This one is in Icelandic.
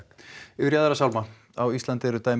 yfir í aðra sálma á Íslandi eru dæmi